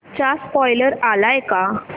चा स्पोईलर आलाय का